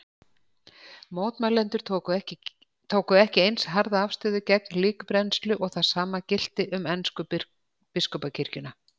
Mótmælendur tóku ekki eins harða afstöðu gegn líkbrennslu og það sama gilti um ensku biskupakirkjuna.